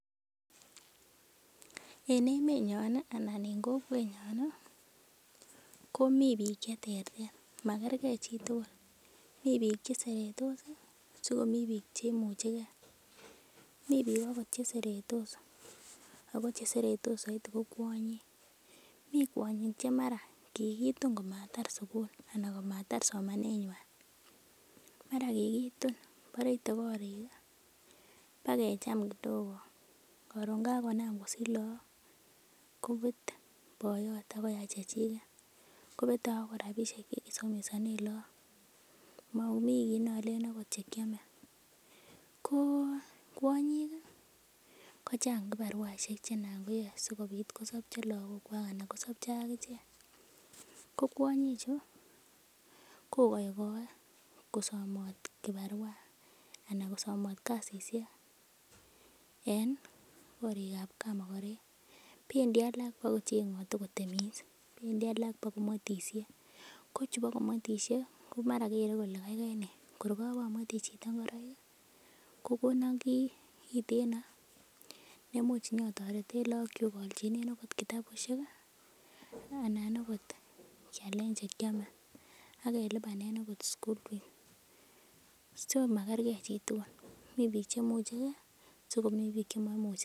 En emenyon ih anan en kokwetnyon ih komii biik cheterter makergee chitugul mii biik cheseretos ih sikomii biik cheimuchegee mii biik akot cheseretos ako cheseretos soiti ko kwonyik, mi kwonyik che mara kikitun komatar sugul anan komatar somanet nywan mara kikitun bore ite korik ih bakecham kidogo koron kakonam kosich look kobete boyot akoyai chechiket, kobete akot rapisiek chekisomesonen look momii kit nolenen ot chekiome ko kwonyik ih kochang kibaruaisiek chenan koyoe sikobit kosopchi lakok kwak anan kosopcho ak ichek ko kwonyik chu kokokoe kosomot kibarua anan kosomot kasisiek en korik ab kamokorek bendi alak bokocheng'ote kotemis, bendi alak kobokomwetisie ko chubo komwetisie ko mara kele kole kaikai nee kor kobomwetyi chito ngoroik ih kokonon kiy kiteno neimuch onyitoreten lokok kyuk aolchinen akot kitabusiek ih anan okot kialen chekiome akelipanen okot school fees so makergee chitugul, mi biik chemuchegee sikomii biik chemoimuchegee